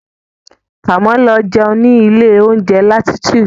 Kàmú lọ jẹun ní ilé oúnjẹ Latitude.